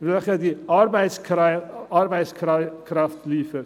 welche die Arbeitskraft liefert.